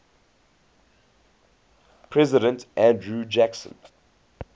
president andrew jackson